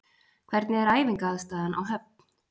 Hvernig er æfingaaðstaðan á Höfn?